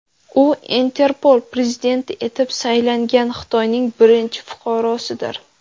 U Interpol prezidenti etib saylangan Xitoyning birinchi fuqarosidir.